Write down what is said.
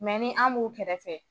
Mɛ ni an b'u kɛrɛfɛ